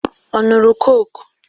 Ọ ṅụrụ kọ́kụ?